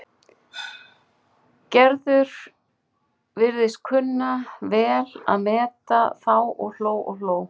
Gerður virtist kunna vel að meta þá og hló og hló.